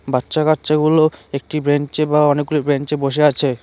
বাচ্চা কাচ্চাগুলো একটি বেঞ্চে বা অনেকগুলি বেঞ্চে বসে আছে।